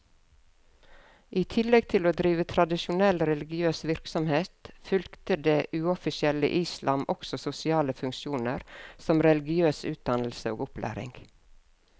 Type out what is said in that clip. I tillegg til å drive tradisjonell religiøs virksomhet, fylte det uoffisielle islam også sosiale funksjoner som religiøs utdannelse og opplæring.